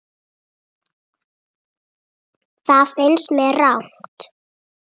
Það finnst mér rangt.